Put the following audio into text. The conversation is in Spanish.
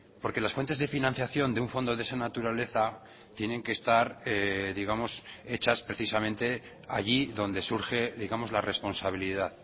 porque las fuentes de financiación de un fondo de esa naturaleza tienen que estar digamos hechas precisamente allí donde surge digamos la responsabilidad